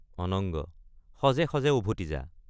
অনঙ্গ—সজে সজে উভতি যা।